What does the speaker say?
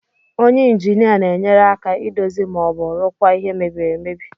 Onye injinia na-enyere aka idozi ma ọ bụ rụkwaa ihe mbiri amebi.